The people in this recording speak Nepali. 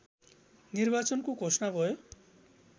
निर्वाचनको घोषणा भयो